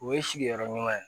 O ye sigiyɔrɔ ɲuman ye